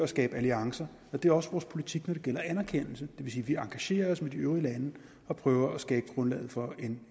skabe alliancer og det er også vores politik når det gælder anerkendelse det vil sige at vi engagerer os med de øvrige lande og prøver at skabe grundlaget for en